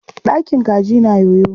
Ɗakin kaji na yoyo.